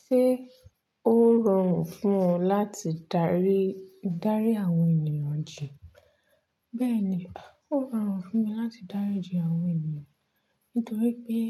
Ṣé ó rọrùn fún ọ láti darí, darí àwọn ènìyàn jì? Bẹ́ẹ̀ni, ó rọrùn fúnmi láti dáríji àwọn ènìyàn. Nítorí pé